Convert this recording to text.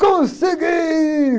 Consegui!